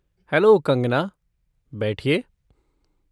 Hello, Kangana! बैठिए।